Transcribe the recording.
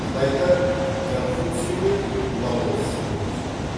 қытайда конфуций мен лаоцзы өмір сүрді